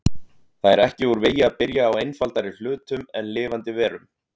Það er ekki úr vegi að byrja á einfaldari hlutum en lifandi verum.